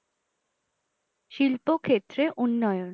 শিল্প ক্ষেত্রে উন্নয়ন